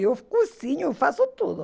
Eu cozinho, faço tudo.